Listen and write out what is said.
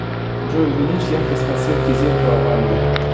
джой увеличь яркость подсветки зеркала в ванной